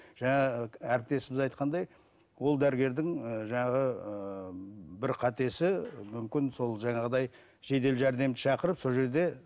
жаңа әріптесіміз айтқандай ол дәрігердің ыыы жаңағы ыыы бір қатесі мүмкін сол жаңағыдай жедел жәрдемді шақырып сол жерде